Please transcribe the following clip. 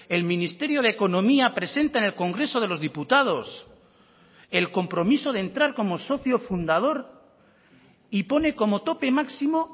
el ministerio de economía presenta en el congreso de los diputados el compromiso de entrar como socio fundador y pone como tope máximo